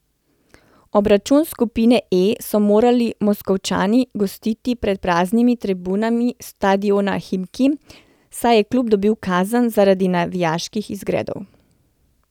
Obračun skupine E so morali Moskovčani gostiti pred praznimi tribunami stadiona Himki, saj je klub dobil kazen zaradi navijaških izgredov.